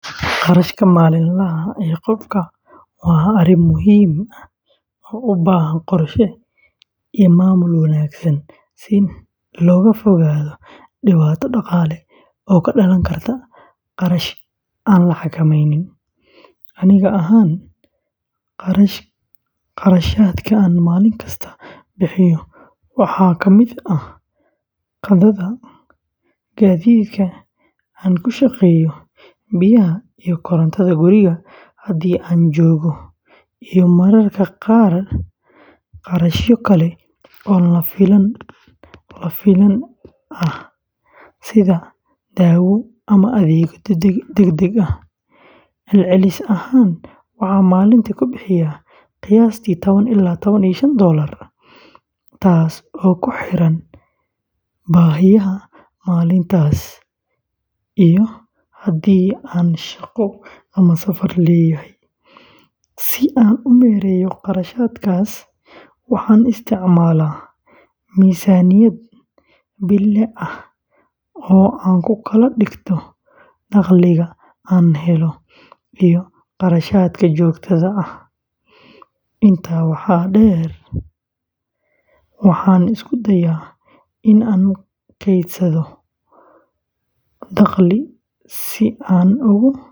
Kharashaadka maalinlaha ah ee qofku waa arrin muhiim ah oo u baahan qorshe iyo maamul wanaagsan si looga fogaado dhibaato dhaqaale oo ka dhalan karta kharash aan la xakameynin. Aniga ahaan, kharashaadka aan maalin kasta bixiyo waxaa ka mid ah qadada, gaadiidka aan ku shaqeeyo, biyaha iyo korontada guriga haddii aan joogo, iyo mararka qaar kharashyo kale oo lama filaan ah sida dawo ama adeegyo degdeg ah. Celcelis ahaan, waxaan maalintii ku bixiyaa qiyaastii tawan ilaa tawan iyo shaan doolar taas oo ku xiran baahiyaha maalintaas iyo haddii aan shaqo ama safar leeyahay. Si aan u maareeyo kharashaadkaas, waxaan isticmaalaa miisaaniyad bille ah oo aan ku kala dhigto dakhliga aan helo iyo kharashaadka joogtada ah. Intaa waxaa dheer, waxaan isku dayaa in aan kaydsado dakhliga si aan.